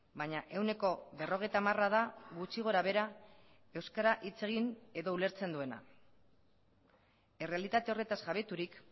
baina ehuneko berrogeita hamara da gutxi gora behera euskara hitz egin edo ulertzen duena errealitate horretaz jabeturik